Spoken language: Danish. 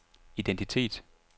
identitet